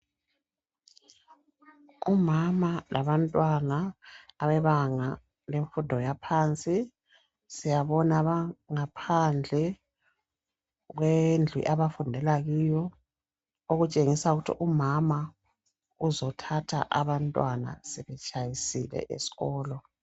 Umama labantwana abebanga lemfundo yaphansi, siyabona bengaphandle kwendlu abafundela kiyo okutshengisa ukuthi umama uzothatha abantwana sebetshayisile esikolo.